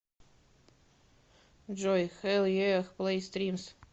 джой хэлл еах плэй стримс